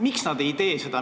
Miks nad ei tee seda?